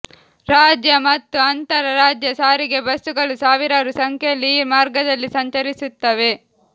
ರಾಜ್ಯ ಮತ್ತು ಅಂತರ ರಾಜ್ಯ ಸಾರಿಗೆ ಬಸ್ಸುಗಳು ಸಾವಿರಾರು ಸಂಖ್ಯೆಯಲ್ಲಿ ಈ ಮಾರ್ಗದಲ್ಲಿ ಸಂಚರಿಸುತ್ತವೆ